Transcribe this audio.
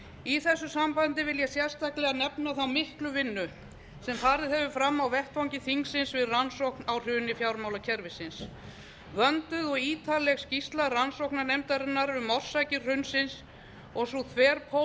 í þessu sambandi vil ég sérstaklega nefna þá miklu vinnu sem farið hefur fram á vettvangi þingsins við rannsókn á hruni fjármálakerfisins vönduð og ítarleg skýrsla rannsóknarnefndarinnar um orsakir hrunsins og sú þverpólitíska sátt